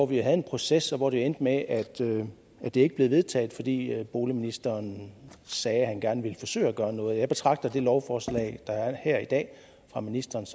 vi havde en proces og det endte med at at det ikke blev vedtaget fordi boligministeren sagde at han gerne ville forsøge at gøre noget jeg betragter det lovforslag der er her i dag fra ministerens